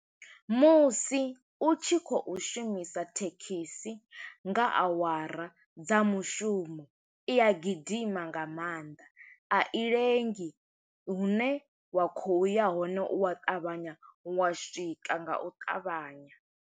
Musi u tshi khou shumisa thekhis, i nga awara dza mushumo, i a gidima nga maanḓa. A i lengi, hune wa khou ya hone, u wa ṱavhanya wa swika nga u ṱavhanya.